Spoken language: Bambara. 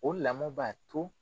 O lamɔ b'a to